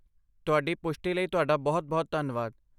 ਤੁਹਾਡੀ ਪੁਸ਼ਟੀ ਲਈ ਤੁਹਾਡਾ ਬਹੁਤ ਬਹੁਤ ਧੰਨਵਾਦ